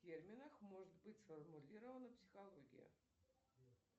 в терминах может быть сформулирована психология